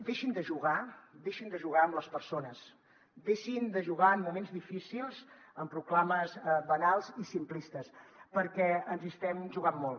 deixin de jugar deixin de jugar amb les persones deixin de jugar en moments difícils amb proclames banals i simplistes perquè ens hi estem jugant molt